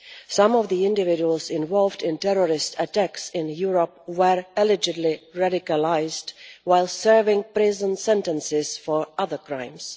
Some of the individuals involved in terrorist attacks in Europe were allegedly radicalised while serving prison sentences for other crimes.